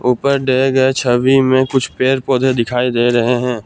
ऊपर दिए गए छवि में कुछ पेर पौधे दिखाई दे रहे हैं।